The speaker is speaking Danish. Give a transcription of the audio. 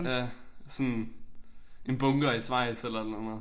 Ja sådan en bunker i Schweiz eller et eller andet